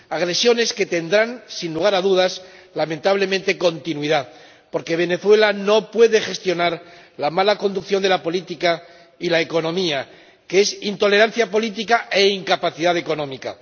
agresiones que tendrán, sin lugar a dudas, lamentablemente, continuidad, porque Venezuela no puede gestionar la mala conducción de la política y la economía, que es intolerancia política e incapacidad económica.